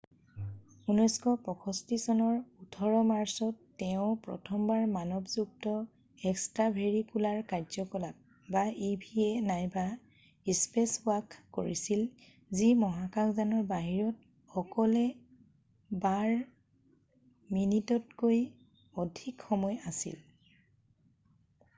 "1965 চনৰ 18 মাৰ্চত তেওঁ প্ৰথমবাৰ মানৱযুক্ত এক্সট্ৰাভেৰিকুলাৰ কাৰ্য্যকলাপ eva নাইবা "স্পেচৱাক" কৰিছিল যি মহাকাশ যানৰ বাহিৰত অকলে বাৰ মিনিটতকৈ অধিক সময় আছিল৷""